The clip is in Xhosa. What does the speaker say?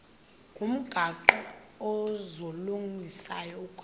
ngomgaqo ozungulezayo ukanti